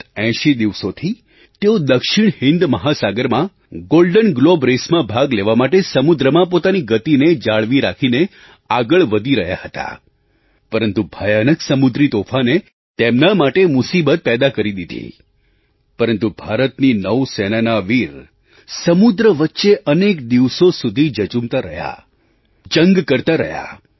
ગત 80 દિવસોથી તેઓ દક્ષિણ હિન્દ મહાસાગરમાં golden globe race golden globe raceમાં ભાગ લેવા માટે સમુદ્રમાં પોતાની ગતિને જાળવી રાખીને આગળ વધી રહ્યા હતા પરંતુ ભયાનક સમુદ્રી તોફાને તેમના માટે મુસીબત પેદા કરી દીધી પરંતુ ભારતની નૌ સેનાના આ વીર સમુદ્ર વચ્ચે અનેક દિવસો સુધી જઝૂમતા રહ્યા જંગ કરતા રહ્યા